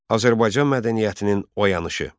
Azərbaycan mədəniyyətinin oyanışı.